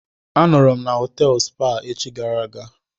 A nọọrọ na họtelụ Spa echi gara aga.